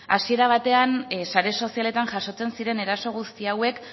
hasiera batean sare sozialetan jasotzen ziren eraso guzti hauek